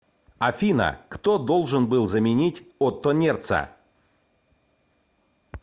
афина кто должен был заменить отто нерца